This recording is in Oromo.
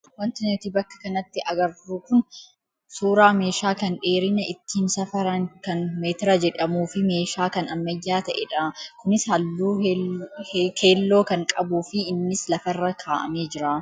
Wanti nuti bakka kanatti agarru kun suuraa meeshaa kan dheerina ittiin safaran kan meetira jedhamuu fi meeshaa kan ammayyaa ta'edha. Kunis halluu keelloo kan qabuu fi innis lafarra kaa'amee jira.